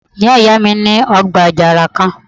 Ìyá ìyá mi ní ọgbà àjàrà kan